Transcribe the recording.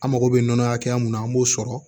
An mago bɛ nɔnɔ hakɛya mun na an b'o sɔrɔ